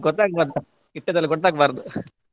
ಗೊತ್ತಾಗ್ಬಾರ್ದು ಇಟ್ಟದ್ದೆಲ್ಲಾ ಗೊತ್ತಾಗ್ಬಾರ್ದು.